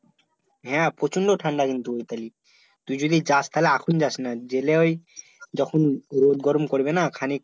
হ্যাঁ প্রচণ্ড ঠাণ্ডা কিন্তু ওই তালি তুই যদি যাস তাহলে এখন যাসনা গেলে ওই যখন রোদ, গরম পড়বে না খানিক